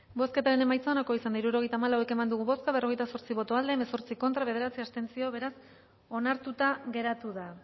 bozketaren emaitza onako izan da hirurogeita hamabost eman dugu bozka berrogeita zortzi boto aldekoa hemezortzi contra bederatzi abstentzio beraz onartuta geratu da